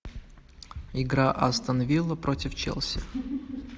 игра астон виллы против челси